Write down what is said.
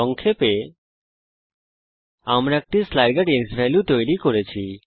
সংক্ষেপে আমরা একটি স্লাইডার ক্সভ্যালিউ তৈরী করেছি